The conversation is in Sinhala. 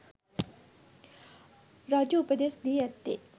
රජු උපදෙස් දී ඇත්තේ